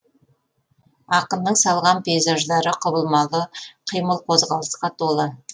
ақынның салған пейзаждары құбылмалы қимыл қозғалысқа толы